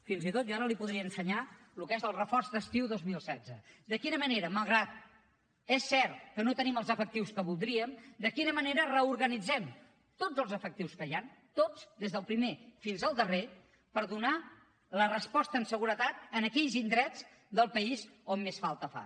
fins i tot jo ara li podria ensenyar el que és el reforç d’estiu dos mil setze de quina manera malgrat que és cert que no tenim els efectius que voldríem reorganitzem tots els efectius que hi han tots des del primer fins al darrer per donar la resposta en seguretat en aquells indrets del país on més falta fa